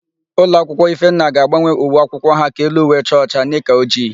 Ulọakwụkwọ Ifenna ga-agbanwe uwe akwụkwọ ha ka elu uwe chaa ọcha, nika ojii.